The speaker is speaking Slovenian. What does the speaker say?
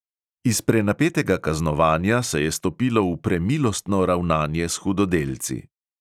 Iz prenapetega kaznovanja se je stopilo v premilostno ravnanje s hudodelci.